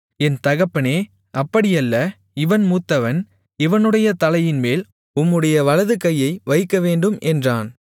என் தகப்பனே அப்படியல்ல இவன் மூத்தவன் இவனுடைய தலையின்மேல் உம்முடைய வலதுகையை வைக்கவேண்டும் என்றான்